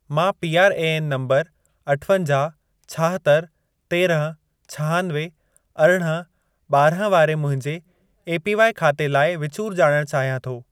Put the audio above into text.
मां PRAN number अठवंजाहु, छाहतरि, तेरहं, छहानवे, अरिड़हं, ॿारहं वारे मुंहिंजे एपीवाई ख़ाते लाइ विचूर ॼाणण चाहियां थो।